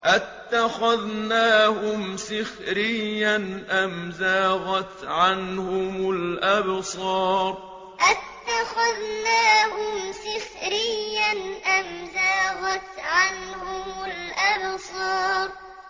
أَتَّخَذْنَاهُمْ سِخْرِيًّا أَمْ زَاغَتْ عَنْهُمُ الْأَبْصَارُ أَتَّخَذْنَاهُمْ سِخْرِيًّا أَمْ زَاغَتْ عَنْهُمُ الْأَبْصَارُ